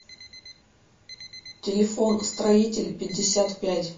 телефон строитель пятьдесят пять